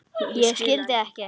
Ég skildi ekki.